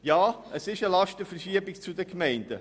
Ja, es ist eine Lastenverschiebung hin zu den Gemeinden.